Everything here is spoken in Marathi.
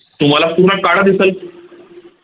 तुम्हाला पूर्ण काळ दिसल